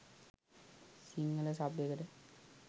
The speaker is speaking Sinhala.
සිංහල සබ් එකට.